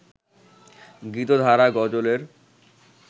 গীতধারা গজলের